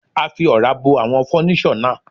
A fi Ọ̀rá bo àwọn fọ́níṣọ̀ náà.